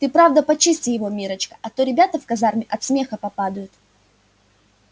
ты правда почисти его миррочка а то ребята в казарме от смеха попадают